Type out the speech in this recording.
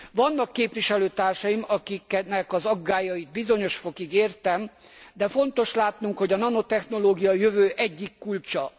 Vannak képviselőtársaim, akiknek az aggályait bizonyos fokig értem, de fontos látnunk, hogy a nanotechnológia a jövő egyik kulcsa.